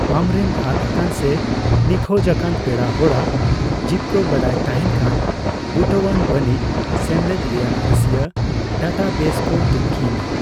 ᱟᱢᱨᱮᱱ ᱟᱫ ᱟᱠᱟᱱ ᱥᱮ ᱱᱤᱠᱷᱳᱡ ᱟᱠᱟᱱ ᱯᱮᱲᱟ ᱦᱚᱲᱟᱜ ᱡᱤᱯᱠᱟ ᱵᱟᱰᱟᱭ ᱛᱟᱦᱮᱸᱱ ᱠᱷᱟᱱ ᱵᱩᱴᱟᱣᱟᱱ ᱵᱟᱹᱱᱤᱡᱽ ᱥᱮᱢᱞᱮᱫ ᱨᱮᱭᱟᱜ ᱨᱟᱹᱥᱤᱭᱟᱹ ᱰᱟᱴᱟᱵᱮᱥ ᱠᱚ ᱛᱩᱱᱠᱷᱤᱭ ᱢᱮ ᱾